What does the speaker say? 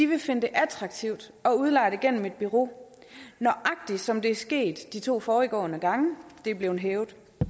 vil finde det attraktivt at udleje det gennem et bureau nøjagtig som det er sket de to foregående gange det er blevet hævet